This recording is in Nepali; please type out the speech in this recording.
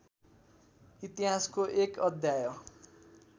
इतिहासको एक अध्याय